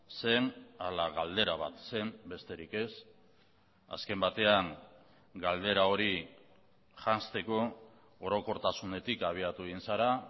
zen ala galdera bat zen besterik ez azken batean galdera hori janzteko orokortasunetik abiatu egin zara